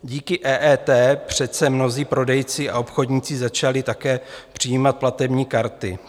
Díky EET přece mnozí prodejci a obchodníci začali také přijímat platební karty.